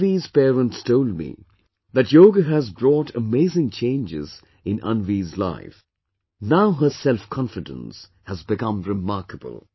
Anvi's parents told me that yoga has brought amazing changes in Anvi's life... Now her selfconfidence has become remarkable